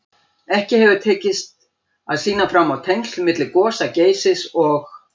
Ekki hefur tekist að sýna fram á tengsl milli gosa Geysis og